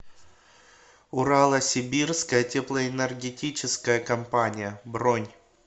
урало сибирская теплоэнергетическая компания бронь